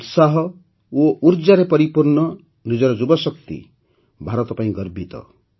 ଉତ୍ସାହ ଓ ଉର୍ଜାରେ ପରିପୂର୍ଣ୍ଣ ନିଜର ଯୁବଶକ୍ତି ପାଇଁ ଭାରତ ଗର୍ବିତ